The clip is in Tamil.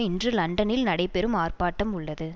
இன்று லண்டனில் நடைபெறும் ஆர்ப்பாட்டம் உள்ளது